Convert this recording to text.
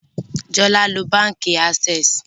Jola nlo bánkì Access